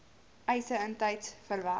eise intyds verwerk